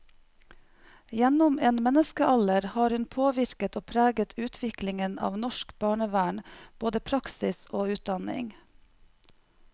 Gjennom en menneskealder har hun påvirket og preget utviklingen av norsk barnevern, både praksis og utdanning.